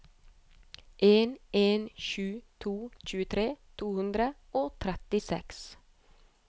en en sju to tjuetre to hundre og trettiseks